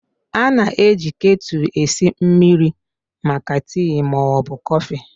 A na-eji ketu esi mmiri maka tii ma ọ bụ kọfị.